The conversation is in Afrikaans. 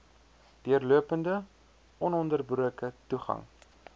deurlopende ononderbroke toegang